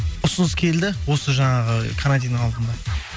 ұсыныс келді осы жаңағы карантиннің алдында